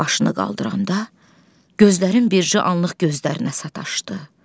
Başını qaldıran da gözlərim bircə anlıq gözlərinə sataşdı.